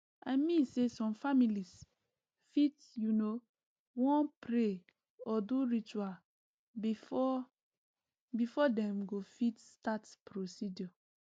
i mean say some families fit you know wan pray or do ritual before before dem go fit start procedure